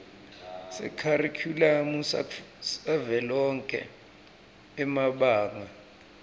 sekharikhulamu savelonkhe emabanga